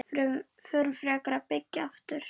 Förum frekar að byggja aftur.